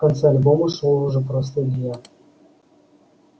в конце альбома шёл уже просто илья